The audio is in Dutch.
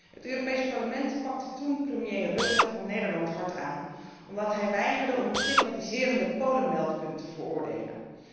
Het Europees Parlement pakte toen premier Rutte van Nederland hard aan omdat hij weigerde om het stigmatiserende Polen meldpunt te veroordelen.